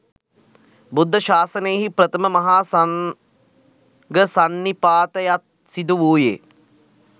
බුද්ධ ශාසනයෙහි ප්‍රථම මහා සංඝසන්නිපාතයත් සිදු වූයේ